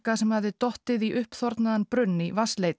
sem hafði dottið í brunn í